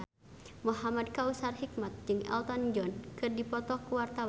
Muhamad Kautsar Hikmat jeung Elton John keur dipoto ku wartawan